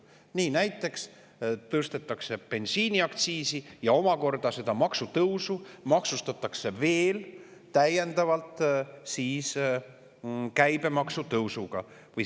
Nii näiteks tõstetakse bensiiniaktsiisi ja omakorda maksustatakse seda maksutõusu veel täiendavalt käibemaksu tõusuga.